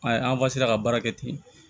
A ye an ka baara kɛ ten